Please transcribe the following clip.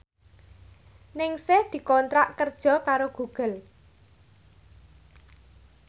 Ningsih dikontrak kerja karo Google